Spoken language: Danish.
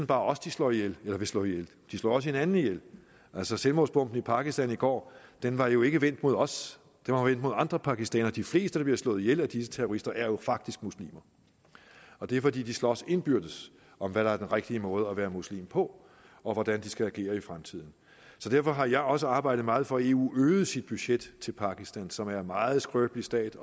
bare os de slår ihjel eller vil slå ihjel de slår også hinanden ihjel altså selvmordsbomben i pakistan i går var jo ikke vendt mod os den var vendt mod andre pakistanere de fleste der bliver slået ihjel af disse terrorister er jo faktisk muslimer og det er fordi de slås indbyrdes om hvad der er den rigtige måde at være muslim på og hvordan de skal agere i fremtiden derfor har jeg også arbejdet meget for at eu øgede sit budget til pakistan som er en meget skrøbelig stat